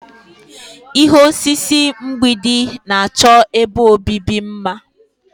Ihe osise mgbidi na-achọ ebe obibi mma.